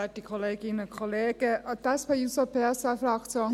Die SP-JUSO-PSA-Fraktion sieht dies ganz klar so: